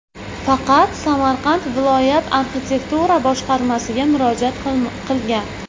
Faqat Samarqand viloyat arxitektura boshqarmasiga murojaat qilgan.